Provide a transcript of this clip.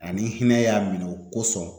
Ani n hinɛ y'a minɛ o kosɔn